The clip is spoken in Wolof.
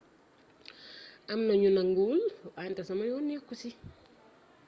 am na ñu nanguwul wante sama yoon nekku ci